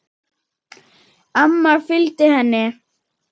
Amma fylgdi henni.